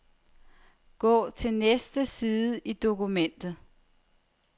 Gå til næste side i dokumentet.